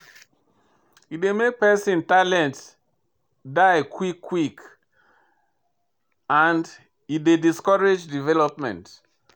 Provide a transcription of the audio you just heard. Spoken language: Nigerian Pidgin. E dey make pesin talent die quick quick and e dey discourage development.